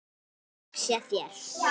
Þökk sé þér.